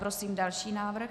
Prosím další návrh.